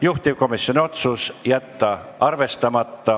Juhtivkomisjoni otsus: jätta arvestamata.